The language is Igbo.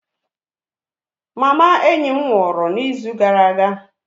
Enyi m nwụrụ mama ya n'izu gara aga